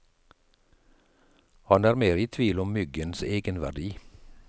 Han er mer i tvil om myggens egenverdi.